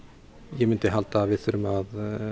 ég myndi halda að við þurfum að